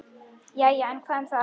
Jæja, en hvað um það.